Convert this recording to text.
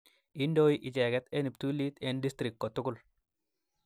Indoi icheget en cheptulit en district kotugul